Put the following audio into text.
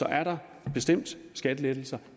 er der bestemt skattelettelser